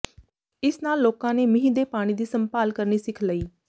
ਇਸ ਨਾਲ ਲੋਕਾਂ ਨੇ ਮੀਂਹ ਦੇ ਪਾਣੀ ਦੀ ਸੰਭਾਲ ਕਰਨੀ ਸਿੱਖ ਲਈ